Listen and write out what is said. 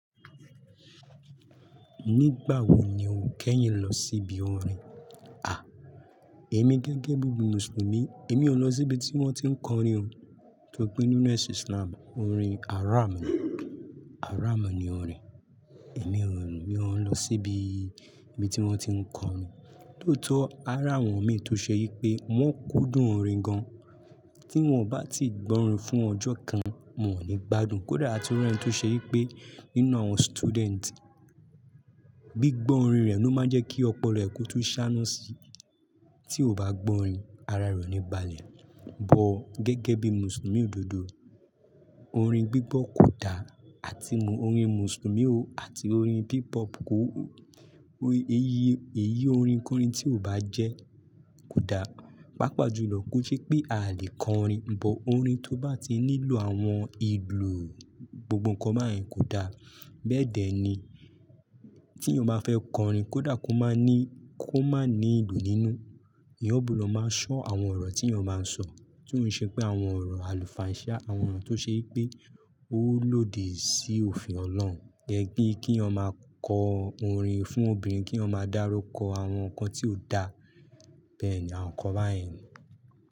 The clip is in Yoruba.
Nígbà wo ni o kẹ́yìn lọ síbi orin? À, èmi gẹ́gẹ́ bí Muslim, èmi ò lọ síbi tí wọ́n ti ń kọrin o. Torí pé nínú Islam, orin haram ni, haram ni orin. Èmi ò rò mí ọ lọ síbi tí wọ́n ti ń kọrin. Lótọ́, haram wọ́n mí tó ṣe yí pé wọ́n kúndùn orin gan. Tí wọ́n bá ti gbọ́ orin fún ọjọ́ kan, mo ní gbádùn. Kódà àtúnrá tó ṣe yí pé nínú àwọn student, gbígbọ́ orin rẹ̀ ló máa ń jẹ́ kí ọpọlọ ẹ̀kú tún ṣáná síi. Tí o bá gbọ́ orin, ara rọ oníbalẹ̀. Ọ̀, gẹ́gẹ́ bí Mùsùlùmí òdodo, orin gbígbọ́ kò da àti orin Mùsùlùmí ò àti orin hip hop kò, èyí orin kọrin tí o bá jẹ́ kò da. Pápá jùlọ kó ṣe pé a lè kọ orin, bọ̀ orin tó bá ti nílò àwọn ìlù gbogbo nǹkan báyìí kò da. Bẹ́ẹ̀dẹ́ ni tí yán bà fẹ́ kọ orin, kó dà kó máa ní, kó má ní ìlù nínú. Iyọ̀bùdọ̀ máa ṣọ́ àwọn ọ̀rọ̀ tí o máa ń sọ, tí ó ń ṣe pé àwọn ọ̀rọ̀ àlùfàǹṣá, àwọn ọ̀rọ̀ tó ṣe yí pé ó lòdì sí òfin Ọlọ́run. Gẹ́gẹ́ bí kí o máa kọ orin fún obìnrin, kí o máa dárúkọ àwọn nǹkan tí ò da, bẹ́ẹ̀ni àwọn nǹkan báyìí.